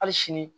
Hali sini